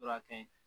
Fura ka ɲi